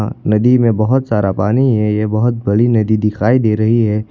नदी में बहोत सारा पानी है ये बहोत बड़ी नदी दिखाई दे रही है।